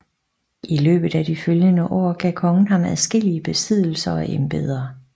I løbet af de følgende år gav kongen ham adskillige besiddelser og embeder